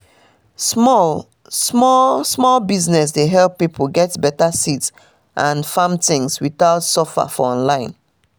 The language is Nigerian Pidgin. small- small small business dey help pipo get beta seeds and farm things without suffer for online